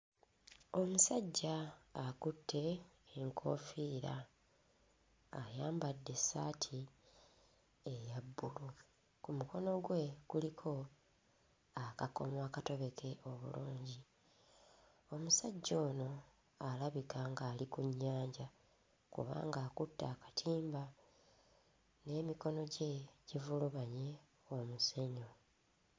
Omusajja akutte enkoofiira, ayambadde essaati eya bbulu. Ku muko gwe kuliko akakomo akatobeke obulungi. Omusajja ono alabika ng'ali ku nnyanja kubanga akutte akatimba, n'emikono gye givulubanye omusenyu.